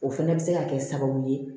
O fana bɛ se ka kɛ sababu ye